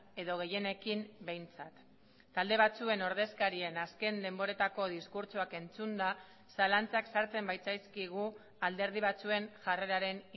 edo gehienekin behintzat talde batzuen ordezkarien azken denboretako diskurtsoak entzunda zalantzak sartzen baitzaizkigu alderdi batzuen jarreraren